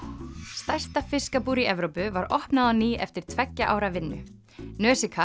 stærsta fiskabúr í Evrópu var opnað á ný eftir tveggja ára vinnu